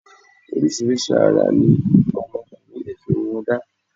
Oríṣiríṣi ara ní àwọn ọkùnrin lè fi irun wọn da